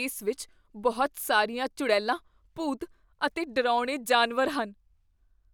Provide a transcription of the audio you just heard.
ਇਸ ਵਿੱਚ ਬਹੁਤ ਸਾਰੀਆਂ ਚੁੜੈਲਾਂ, ਭੂਤ ਅਤੇ ਡਰਾਉਣੇ ਜਾਨਵਰ ਹਨ।